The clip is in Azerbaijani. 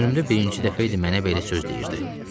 Ömrümdə birinci dəfə idi mənə belə söz deyirdi.